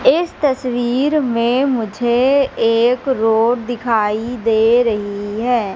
इस तस्वीर में मुझे एक रोड दिखाई दे रही है।